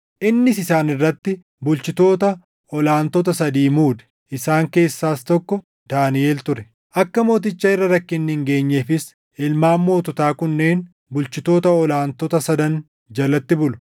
innis isaan irratti bulchitoota ol aantota sadii muude; isaan keessaas tokko Daaniʼel ture. Akka mooticha irra rakkinni hin geenyeefis ilmaan moototaa kunneen bulchitoota ol aantota sadan jalatti bulu.